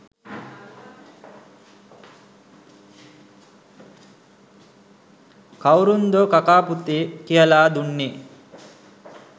කවුරුන්දෝ කකා පුතේ කියලා දුන්නේ?